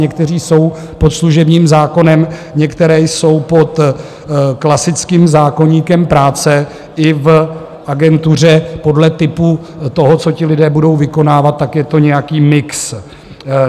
Někteří jsou pod služebním zákonem, někteří jsou pod klasickým zákoníkem práce i v agentuře podle typu toho, co ti lidé budou vykonávat, tak je to nějaký mix.